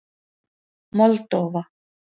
Moldóva